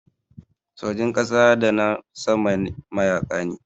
Sojin ƙasa da na sama mayaƙa ne.